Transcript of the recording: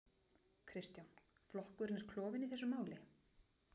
Kristján: Flokkurinn er klofinn í þessu máli?